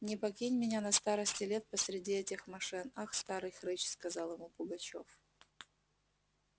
не покинь меня на старости лет посреди этих мошен а старый хрыч сказал ему пугачёв